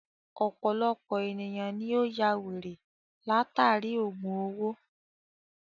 Ọ̀pọ̀lọpọ̀ èniyàn ni ó yá wèrè látàri ògùn owó.